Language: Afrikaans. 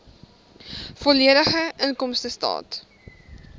volledige inkomstestaat